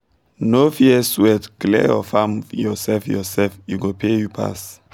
no fear sweat clear your farm yourself yourself e go pay you pass